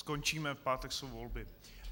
Skončíme, v pátek jsou volby.